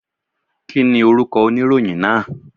Kí ni orúkọ oníròyìn náà?